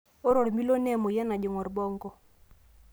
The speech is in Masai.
ore ormilo naa emoyian najing orbonko.